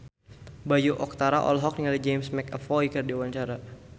Bayu Octara olohok ningali James McAvoy keur diwawancara